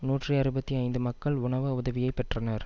நூற்றி அறுபத்தி ஐந்து மக்கள் உணவு உதவியை பெற்றனர்